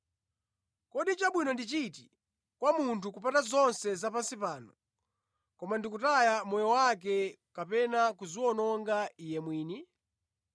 Kodi chabwino ndi chiti kwa munthu, kupata zonse zapansi pano, koma ndi kutaya moyo wake kapena kudziwononga iye mwini?